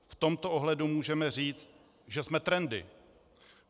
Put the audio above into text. V tomto ohledu můžeme říci, že jsme trendy.